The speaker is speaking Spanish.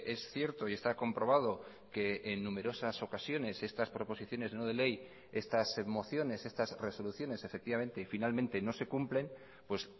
es cierto y está comprobado que en numerosas ocasiones estas proposiciones no de ley estas mociones estas resoluciones efectivamente y finalmente no se cumplen pues